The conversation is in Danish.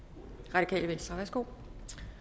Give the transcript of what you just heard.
radikale venstre værsgo